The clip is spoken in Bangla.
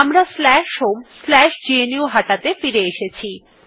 আমরা homegnuhata ত়ে ফিরে এসেছি